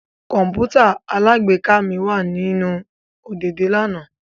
Kọǹpútà alágbèéká mi wa ninu ọ̀dẹ̀dẹ̀ lana